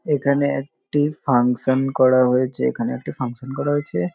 এখানে একটি ফাংশন করা হয়েছে এখানে একটি ফাংশন করা হয়েছে ।